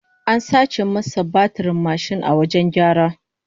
An sace masa batirin mashin a wajen gyara